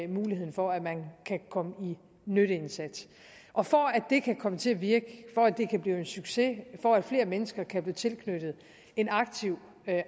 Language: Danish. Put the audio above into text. muligheden for at man kan komme i en nytteindsats og for at det kan komme til at virke for at det kan blive en succes for at flere mennesker kan blive tilknyttet en aktiv